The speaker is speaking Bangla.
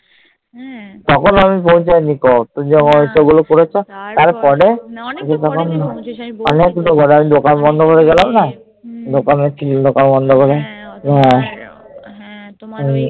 তখন আমি পৌঁছায়নি তখন ওগুলো করেছো তারপরে না আমি বলছি তো আমি দোকান বন্ধ করে গেলাম না দোকানের কি দোকান বন্ধ করে